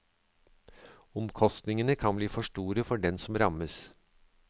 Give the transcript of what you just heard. Omkostningene kan bli store for den som rammes.